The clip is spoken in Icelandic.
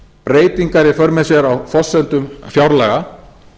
breytingar í för með sér á forsendum fjárlaga